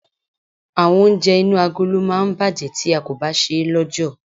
Àwọn oúnjẹ inú agolo máa ń bàjẹ́ tí a kò bá ṣe é lọ́jọ̀.